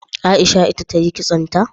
Aisha ita tayi kitso ta?